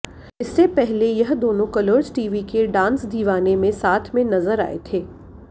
इससे पहले यह दोनों कलर्स टीवी के डांस दीवाने में साथ में नजर आए थे